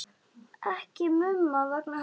Ekki Mumma vegna heldur.